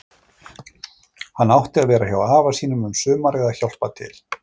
Hann átti að vera hjá afa um sumarið að hjálpa til.